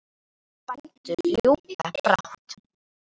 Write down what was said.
Slætti bændur ljúka brátt.